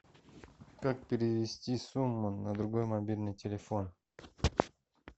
как перевести сумму на другой мобильный телефон